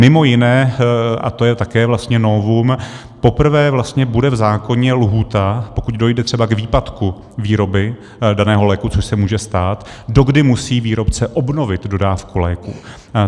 Mimo jiné, a to je také vlastně novum, poprvé vlastně bude v zákoně lhůta, pokud dojde třeba k výpadku výroby daného léku, což se může stát, dokdy musí výrobce obnovit dodávku léků.